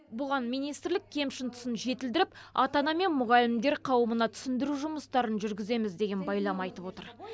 бұған министрлік кемшін тұсын жетілдіріп ата ана мен мұғалімдер қауымына түсіндіру жұмыстарын жүргіземіз деген байлам айтып отыр